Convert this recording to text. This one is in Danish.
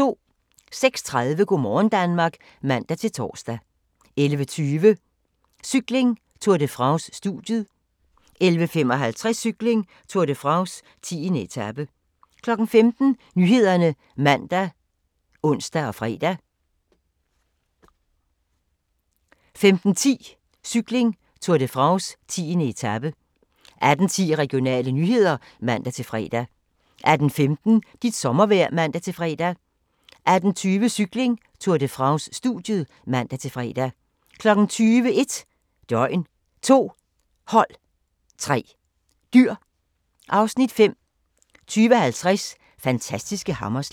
06:30: Go' morgen Danmark (man-tor) 11:20: Cykling: Tour de France - studiet 11:55: Cykling: Tour de France - 10. etape 15:00: Nyhederne (man og ons-fre) 15:10: Cykling: Tour de France - 10. etape 18:10: Regionale nyheder (man-fre) 18:15: Dit sommervejr (man-fre) 18:20: Cykling: Tour de France - studiet (man-fre) 20:00: 1 døgn, 2 hold, 3 dyr (Afs. 5) 20:50: Fantastiske hammerslag